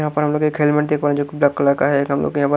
यहां पर हम लोग एक हेलमेट देख पा रहे है जो कि ब्लैक कलर का है एक हम लोग--